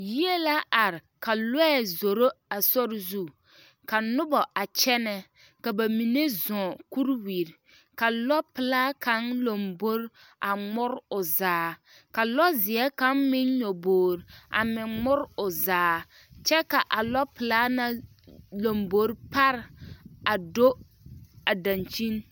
Yie la are ka lɔɛ zoro a sori zu ka noba a kyɛnɛ ka ba mine zɔɔ kuriwiri ka lɔpelaa kaŋ lambori a ŋmori o zaa ka lɔzeɛ kaŋ meŋ nyɔboori meŋ ŋmori o zaa kyɛ ka a lɔpelaa na lambori pare a do daŋkyini.